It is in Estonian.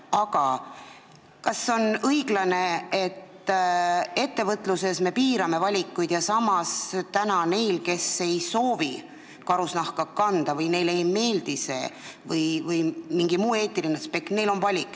Aga kas on õiglane, et ettevõtluses me piirame valikuid, aga samas neil, kes ei soovi karusnahka kanda, kellele see ei meeldi või kes lähtuvad mingist muust eetilisest aspektist, on valik?